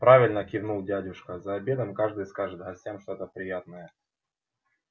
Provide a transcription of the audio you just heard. правильно кивнул дядюшка за обедом каждый скажет гостям что-то приятное